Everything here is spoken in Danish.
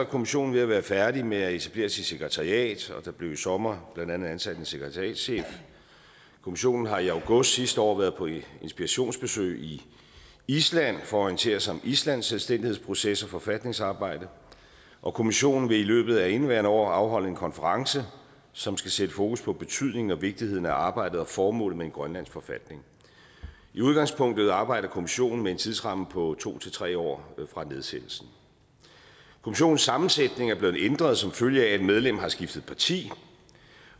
kommissionen ved at være færdig med at etablere sit sekretariat og der blev i sommer blandt andet ansat en sekretariatschef kommissionen har i august sidste år været på inspirationsbesøg i island for at orientere sig om islands selvstændighedsproces og forfatningsarbejde og kommissionen vil i løbet af indeværende år afholde en konference som skal sætte fokus på betydningen og vigtigheden af arbejdet og formålet med en grønlandsk forfatning i udgangspunktet arbejder kommissionen med en tidsramme på to tre år fra nedsættelsen kommissionens sammensætning er blevet ændret som følge af at et medlem har skiftet parti